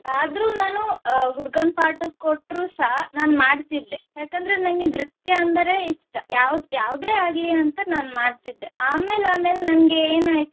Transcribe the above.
ಆದ್ರೂ ನಾನು ಅಹ್ ಹುಡುಗನ್ part ಕೋಟ್ರು ಸಹ ನಾನ್ ಮಾಡ್ತಿದ್ದೆ ಯಾಕಂದ್ರೆ ನಂಗೆ ನೃತ್ಯ ಅಂದ್ರೆ ಇಷ್ಟ ಯಾವು~ ಯಾವುದೇ ಆಗ್ಲಿ ಅಂತ ನಾನು ಮಾಡ್ತಿದ್ದೆ ಅಮೇಲ್ ಅಮೇಲ್ ನಂಗೆ ಏನಾಯ್ತು